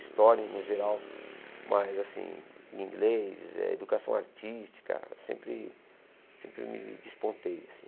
História, no geral, mas, assim, inglês, eh educação artística, sempre sempre me despontei, assim.